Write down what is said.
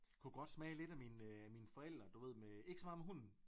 Kunne godt smage lidt af mine af mine forældre du ved med ikke så meget med hunden